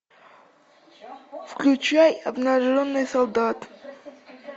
включай обнаженный солдат